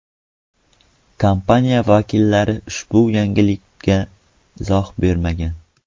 Kompaniya vakillari ushbu yangilikka izoh bermagan.